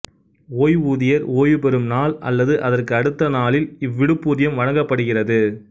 ஓய்வூதியர் ஓய்வு பெறும் நாள் அல்லது அதற்கு அடுத்த நாளில் இவ்விடுப்பூதியம் வழங்கப்படுகிறது